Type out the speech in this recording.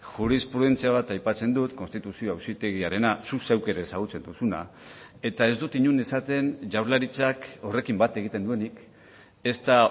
jurisprudentzia bat aipatzen dut konstituzio auzitegiarena zuk zeuk ere ezagutzen duzuna eta ez dut inon esaten jaurlaritzak horrekin bat egiten duenik ezta